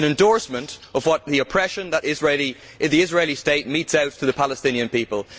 It is an endorsement of the oppression that the Israeli state metes out to the Palestinian people.